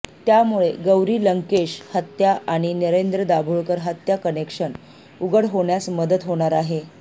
त्यामुळे गौरी लंकेश हत्या आणि नरेंद्र दाभोलकर हत्या कनेक्शन उघड होण्यास मदत होणार आहे